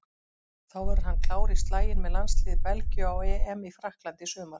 Þá verður hann klár í slaginn með landsliði Belgíu á EM í Frakklandi í sumar.